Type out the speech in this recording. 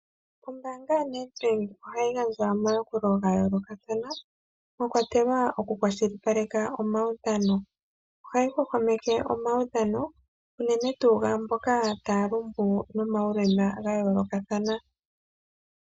Ombaanga yaNedbank ohayi gadja omayakulo yayoolokathana mwakwatelwa oku kwashilipaleka omawudhano. Ohayi hwahwameke omawudhano unene tuu gaamboka taya lumbu nomawulema yayoolokathana.